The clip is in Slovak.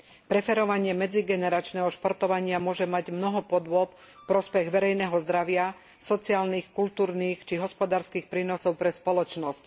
Preferovanie medzigeneračného športovania môže mať mnoho podôb v prospech verejného zdravia, sociálnych, kultúrnych či hospodárskych prínosov pre spoločnosť.